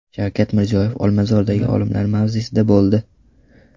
Shavkat Mirziyoyev Olmazordagi olimlar mavzesida bo‘ldi.